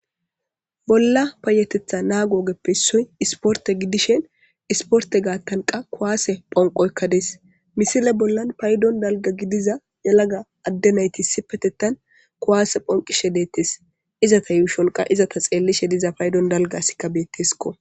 Bolla payetetha naa googeppe issoy isporte gidishen isporte gaattanqa kuwaase phonqoykka dees misile bollan paydon dalga gidiza yalaga addenaytissi petettan kuwaase phonqishe deettes izata yuushonqa izata xeellishe diza paydon dalgasika beettesko.